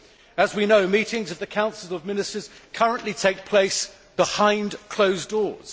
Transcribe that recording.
As we know, meetings of the Council of Ministers currently take place behind closed doors.